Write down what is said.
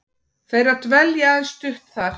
þeirra dvelji aðeins stutt þar.